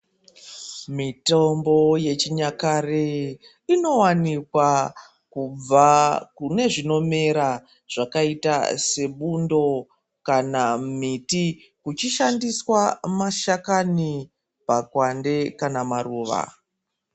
Mitambo yechinyakare inowanikwa kubva kune zvinomera zvakaita sebundo, kana miti uchishandiswa mashakani, makwande kana maruva.